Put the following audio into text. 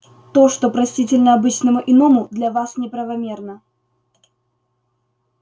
то что простительно обычному иному для вас неправомерно